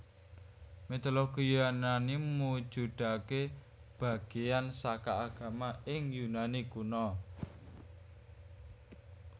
Mitologi Yunani mujudaké bagéyan saka agama ing Yunani Kuna